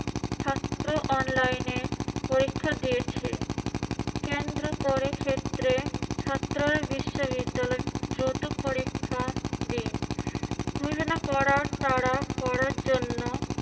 ছাত্র online এ পরীক্ষা দিয়েছে। কেন্দ্র করে ক্ষেত্রে ছাত্ররা বিশ্ববিদ্যালয়ে দ্রুত পরীক্ষা দিন। ঘোষণা করার তাড়া করার জন্য